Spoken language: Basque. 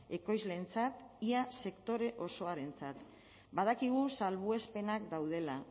ekoizleentzat ia sektore osoarentzat badakigu salbuespenak daudela